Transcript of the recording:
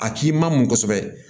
A k'i ma mɔ kosɛbɛ